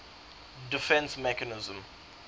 defence mechanism